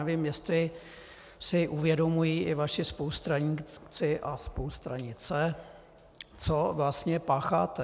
Nevím, jestli si uvědomují i vaši spolustraníci a spolustranice, co vlastně pácháte.